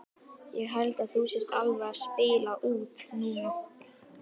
Ég held að þú sért alveg að spila út núna!